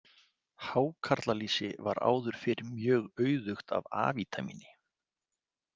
Hákarlalýsi var áður fyrr mjög auðugt af A-vítamíni.